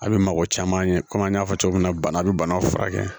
A bɛ mɔgɔ caman ye kɔmi an y'a fɔ cogo min na bana bɛ banaw furakɛ